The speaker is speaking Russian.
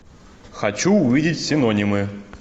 хочу увидеть синонимы